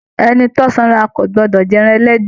Ẹni tí o sanra kò gbọdọ máa jẹ ẹran ẹlẹ́dẹ̀.